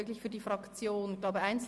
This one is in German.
Zusätzliche Abendsession am Montag